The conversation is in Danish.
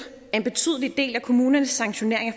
at en betydelig del af kommunernes sanktioneringer